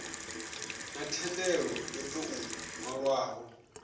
na thendelo yo tou nwalwaho